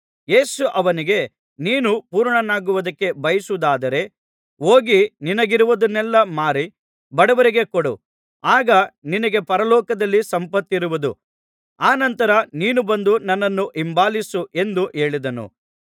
ಯೇಸು ಅವನಿಗೆ ನೀನು ಪೂರ್ಣನಾಗುವುದಕ್ಕೆ ಬಯಸುವುದಾದರೆ ಹೋಗಿ ನಿನಗಿರುವುದನ್ನೆಲ್ಲಾ ಮಾರಿ ಬಡವರಿಗೆ ಕೊಡು ಆಗ ನಿನಗೆ ಪರಲೋಕದಲ್ಲಿ ಸಂಪತ್ತಿರುವುದು ಅನಂತರ ನೀನು ಬಂದು ನನ್ನನ್ನು ಹಿಂಬಾಲಿಸು ಎಂದು ಹೇಳಿದನು